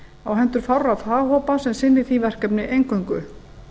á hendur fárra faghópa sem sinni því verkefni eingöngu